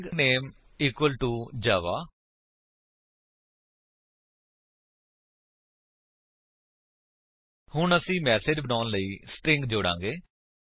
string name equal to Java160 ਹੁਣ ਅਸੀ message ਬਣਾਉਣ ਲਈ ਸਟਰਿੰਗ ਜੋੜਾਂਗੇ